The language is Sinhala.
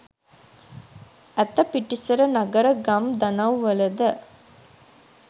ඇත පිටිසර නගර ගම් දනව්වලද